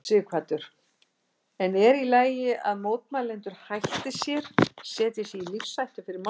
Sighvatur: En er í lagi að mótmælendur hætti sér, setji sig í lífshættu fyrir málstaðinn?